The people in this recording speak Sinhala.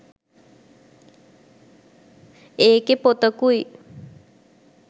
ඒකේ පොතකුයි